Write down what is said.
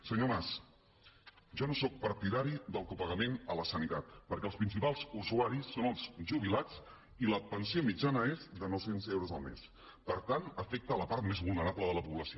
senyor mas jo no sóc partidari del copagament a la sanitat perquè els principals usuaris són els jubilats i la pensió mitjana és de nou cents euros el mes per tant afecta la part més vulnerable de la població